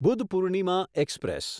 બુધપૂર્ણિમાં express